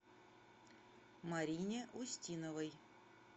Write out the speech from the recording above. марине устиновой